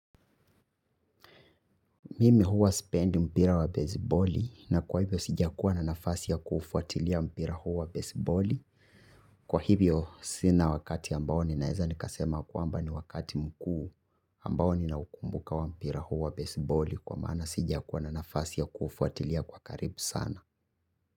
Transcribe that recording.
Mimi huwa sipendi mpira wa baseballi na kwa hivyo sijakuwa na nafasi ya kuufuatilia mpira huo baseballi. Kwa hivyo sina wakati ambao ninaweza nikasema kwamba ni wakati mkuu ambao ninaukumbuka wa mpira huwa baseballi. Kwa maana sijakuwa na nafasi ya kuufuatilia kwa karibu sana.